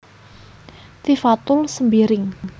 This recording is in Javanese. Tifatul Sembiring